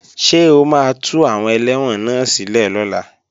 Ṣé o máa tú àwọn ẹlẹ́wọ̀n náà sílẹ̀ lọ́la?